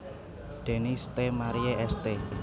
Denis Ste Marie St